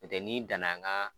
N'o tɛ n'i dan na an ka